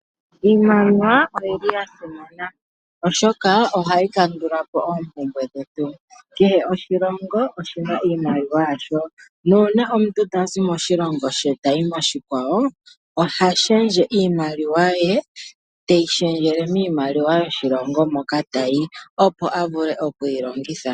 Iimaliwa oyili ya simana oshoka ohayi kandulapo oompumbwe dhetu. Kehe oshilongo oshina iimaliwa yasho. Nuuna omuntu tazi moshilongo she tayi moshikwawo oha shendje iimaliwa ye teyi shendjele miimaliwa yoshilongo moka tayi. Opo avule okuyi longitha.